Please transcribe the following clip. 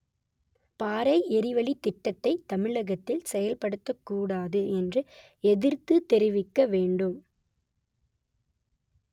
பாறை எரிவளித் திட்டத்தை தமிழகத்தில் செயல்படுத்தக்கூடாது என்று எதிர்த்து தெரிவிக்க வேண்டும்